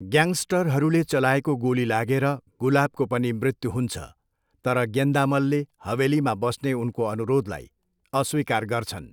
ग्याङस्टरहरूले चलाएको गोली लागेर गुलाबको पनि मृत्यु हुन्छ तर गेन्दामलले हवेलीमा बस्ने उनको अनुरोधलाई अस्वीकार गर्छन्।